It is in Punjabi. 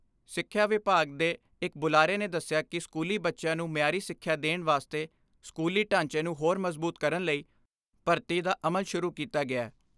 ਸਿੱਖਿਆ ਵਿਭਾਗ ਦੇ ਇਕ ਬੁਲਾਰੇ ਨੇ ਦੱਸਿਆ ਕਿ ਸਕੂਲੀ ਬੱਚਿਆਂ ਨੂੰ ਮਿਆਰੀ ਸਿੱਖਿਆ ਦੇਣ ਵਾਸਤੇ ਸਕੂਲੀ ਢਾਂਚੇ ਨੂੰ ਹੋਰ ਮਜ਼ਬੂਤ ਕਰਨ ਲਈ ਭਰਤੀ ਦਾ ਅਮਲ ਸ਼ੁਰੂ ਕੀਤਾ ਗਿਐ।